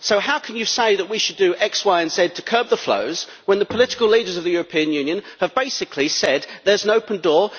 So how can you say that we should do X, Y and Z to curb the flows, when the political leaders of the European Union have basically said there is an open door?